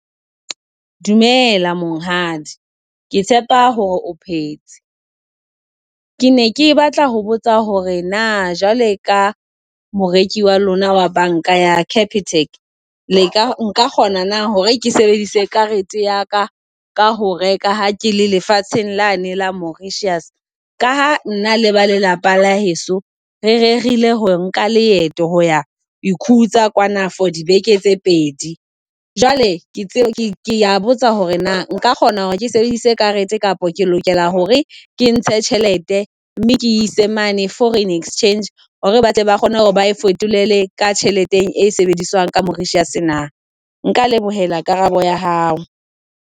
Dumela monghadi, ke tshepa hore o phetse. Ke ne ke batla ho botsa hore na jwale ka moreki wa lona wa banka ya Capitec, le ka nka kgona na hore ke sebedise karete ya ka ka ho reka ha ke le lefatsheng lane la Mauritius, ka ha nna le ba lelapa la heso re rerile ho nka leeto ho ya ikhutsa kwana for dibeke tse pedi. Jwale ke tsebe, ke a botsa hore na nka kgona hore ke sebedisa karete kapa ke lokela hore ke ntshe tjhelete mme ke e ise mane Foreign Exchange hore batle ba kgone hore ba e fetolele ka tjhelete e sebediswang ka Mauritius na. Nka lebohela karabo ya hao.